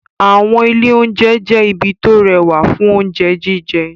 Àwọn ilé-oúnjẹ jẹ́ ibi tó rẹwà fún oúnjẹ jíjẹ.